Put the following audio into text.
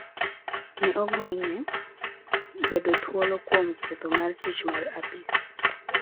Ne ogonye bedo thuolo kuom ketho mar tiyo marach gi apis.